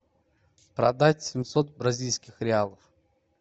продать семьсот бразильских реалов